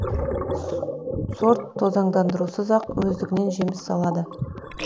сорт тозаңдандырусыз ақ өздігінен жеміс салады